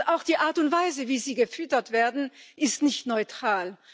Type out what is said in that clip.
Auch die Art und Weise, wie sie gefüttert werden, ist nicht neutral.